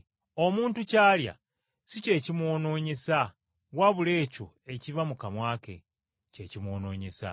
Omuntu ky’alya si kye kimwonoonyesa, wabula ekyo ekiva mu kamwa ke, kye kimwonoonyesa.”